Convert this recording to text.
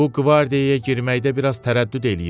Bu qvardiyaya girməkdə biraz tərəddüd eləyirəm.